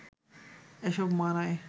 এসব মানায়